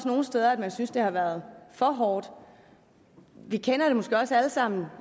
nogle steder synes det har været for hårdt vi kender det måske også alle sammen